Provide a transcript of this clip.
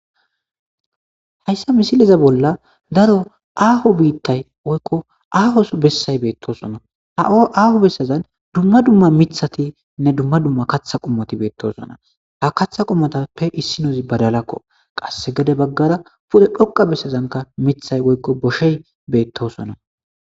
Hayssa misileza bolla daro aaho biittay woykko aahos bessay beettosona ha7o aaho bessazan dumma dumma mithatinne dumma dumma katha qummati beettosona ha katha qummatappe issinozi badalakko qasse gede baggara pu7e dhoqa bessazanka mithay woykko boshey beettosona.